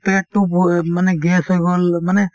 পেটতো ব মানে gas হৈ গল মানে